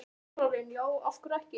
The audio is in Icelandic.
Þórarinn: Já, af hverju ekki?